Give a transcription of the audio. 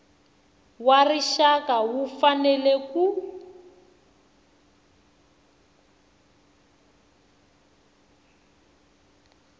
wa rixaka wu fanele ku